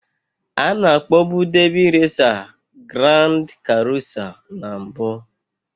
Ana akpọọbu Debị résa Giráánd karusá na mbụ